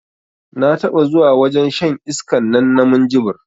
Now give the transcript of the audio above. Na taɓa zuwa wajen shan iskan nan na minjibir